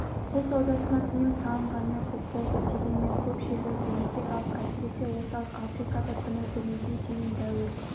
құл саудасына тыйым салынғанына көп болды дегенмен көп жерлерде етек алып әсіресе орталық африкада күні бүгінге дейін дәуір